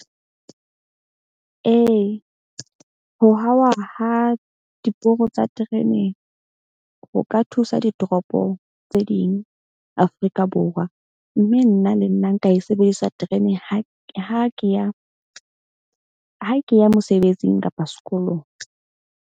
Ee, ho hauwa ha diporo tsa terene ho ka thusa ditoropong tse ding Afrika Borwa. Mme nna le nna nka e sebedisa terene ha ke ya mosebetsing kapa sekolong.